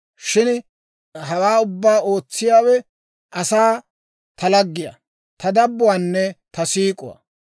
Shin hawaa ubbaa ootsiyaawe asaa, ta laggiyaa, Ta dabbuwaanne ta siik'uwaa.